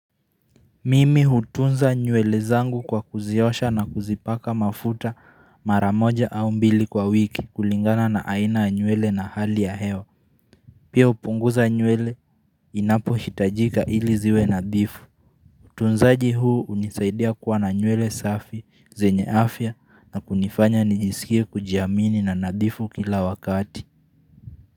Mimi hutunza nywele zangu kwa kuziosha na kuzipaka mafuta maramoja au mbili kwa wiki kulingana na aina nywele na hali ya hewa. Pia upunguza nywele inapohitajika ili ziwe nadhifu. Utunzaji huu hunisaidia kuwa na nywele safi zenye afya na kunifanya nijisikie kujiamini na nadhifu kila wakati.